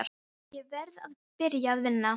Ég verð að byrja að vinna.